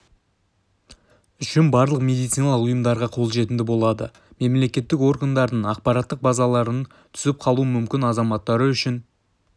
үшін барлық медициналық ұйымдарға қолжетімді болады мемлекеттік органдардың ақпараттық базаларынан түсіп қалуы мүмкін азаматтар үшін